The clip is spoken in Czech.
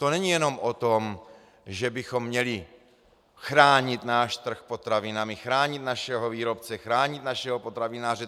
To není jenom o tom, že bychom měli chránit náš trh potravinami, chránit našeho výrobce, chránit našeho potravináře.